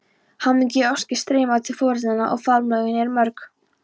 Hamingjuóskir streyma til foreldranna og faðmlögin eru mörg.